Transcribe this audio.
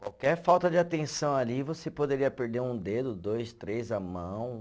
Qualquer falta de atenção ali, você poderia perder um dedo, dois, três, a mão.